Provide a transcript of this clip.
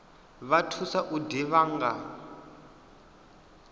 vha thusa u ḓivha nga